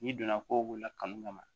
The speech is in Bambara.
N'i donna ko la kanu kama